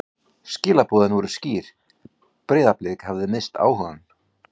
Skilaboðin voru skýr: Breiðablik hafði misst áhugann.